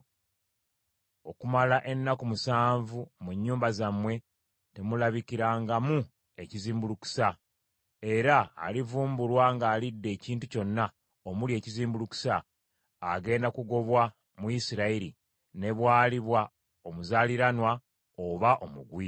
Okumala ennaku musanvu mu nnyumba zammwe temulabikangamu ekizimbulukusa; era alivumbulwa ng’alidde ekintu kyonna omuli ekizimbulukusa, agenda kugobwa mu Isirayiri, ne bwaliba omuzaaliranwa oba omugwira.